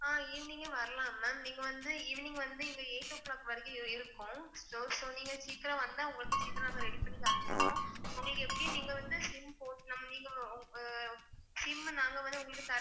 ஆஹ் evening யே வரலாம் ma'am நீங்க வந்து evening வந்து இங்கே eight o clock வரைக்கும் இருக்கும் so நீங்க சீக்கிரம் வந்தா உங்களுக்கு சீக்கிரம் நாங்க ready பண்ணி தந்து விடுவோம் உங்களுக்கு எப்படி நீங்க வந்து SIM போட்டு ma'am நீங்க அஹ் SIM நாங்க வந்து உங்களுக்கு தர